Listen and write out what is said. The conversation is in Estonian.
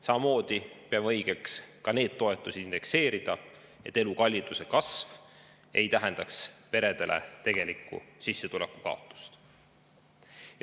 Samamoodi peame õigeks ka neid toetusi indekseerida, et elukalliduse kasv ei tähendaks peredele tegelikku sissetuleku kaotust.